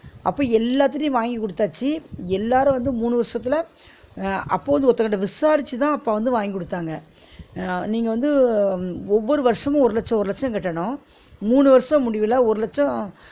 அப்ப எல்லாத்திட்டயும் வாங்கி குடுத்தாச்சி எல்லாரும் வந்து மூணு வருஷத்து அஹ் அப்ப வந்து ஒருதங்கட்ட விசாரிச்சு தான் அப்பா வந்து வாங்கி கொடுத்தாங்க அஹ் நீங்க வந்து ஒவ்வொரு வருஷமும் ஒரு லட்சோ ஒரு லட்சோ கட்டனும் மூணு வருஷ முடிவுல ஒரு லட்சோ